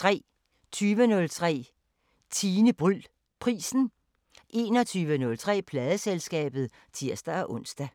20:03: Tine Bryld Prisen 21:03: Pladeselskabet (tir-ons)